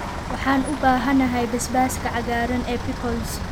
Waxaan u baahanahay basbaaska cagaaran ee pickles.